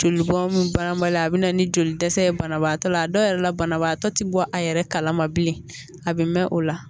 Joli bɔn banbali a bɛ na ni joli dɛsɛ ye banabaatɔ la a dɔw yɛrɛ la banabaatɔ tɛ bɔ a yɛrɛ kalama bilen a bɛ mɛn o la